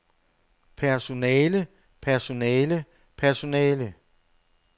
personale personale personale